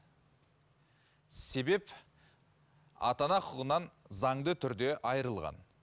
себеп ата ана құқығынан заңды түрде айырылған